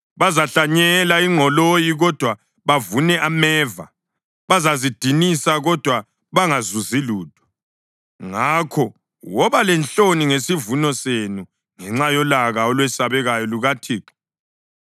Bazahlanyela ingqoloyi kodwa bavune ameva; bazazidinisa kodwa bangazuzi lutho. Ngakho wobani lenhloni ngesivuno senu ngenxa yolaka olwesabekayo lukaThixo.”